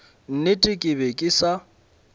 nnete ke be ke sa